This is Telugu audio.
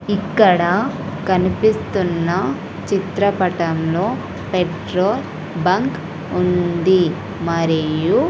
ఇక్కడ కనిపిస్తున్న చిత్రపటంలో పెట్రోల్ బంక్ ఉంది మరియు--